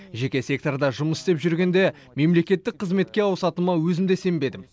жеке секторда жұмыс істеп жүргенде мемлекеттік қызметке ауысатыныма өзім де сенбедім